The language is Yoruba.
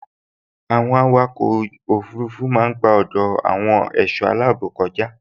Àwọn àwòkọ òfurufú máa n gba ọdọ àwọn ẹṣọ aláàbò kọja